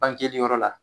Bangeli yɔrɔ la